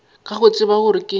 ka go tseba gore ke